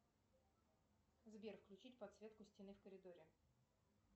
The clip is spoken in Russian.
сбер включить подсветку стены в коридоре